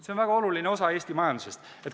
See on väga oluline osa Eesti majandusest.